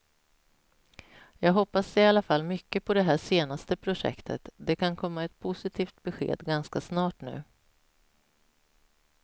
Jag hoppas i alla fall mycket på det här senaste projektet, det kan komma ett positivt besked ganska snart nu.